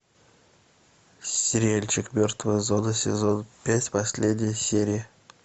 сериальчик мертвая зона сезон пять последняя серия